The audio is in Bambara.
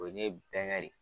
O ye bɛngɛ re ye.